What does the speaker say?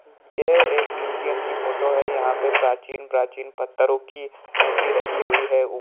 यह एक म्यूजियम की फोटो है| यहाँ पे प्राचीन-प्राचीन पत्थरों की मूर्ति रखी हुई है।